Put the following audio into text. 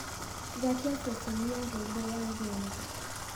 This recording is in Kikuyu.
gwatia ceceni ya rũimbo ya genge